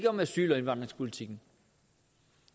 om asyl og indvandringspolitikken